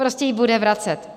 Prostě ji bude vracet.